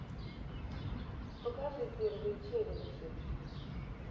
покажи первые челленджи